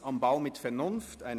‹Kunst am Bau› mit Vernunft».